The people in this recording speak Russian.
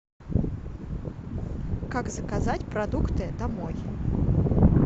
как заказать продукты домой